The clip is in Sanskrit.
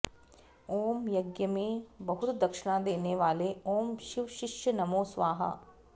ॐ यज्ञमें बहुत दक्षणा देने वाले ॐ शिव शिष्य नमो स्वाहा